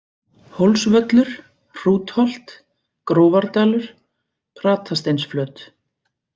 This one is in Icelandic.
Hólsvöllur, Hrútholt, Grófardalur, Pratasteinsflöt